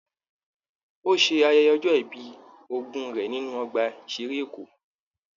Ò ṣe ayẹyẹ ọjọ́ ìbí ogún rẹ nínú Ọgbà ìṣeré Èkó.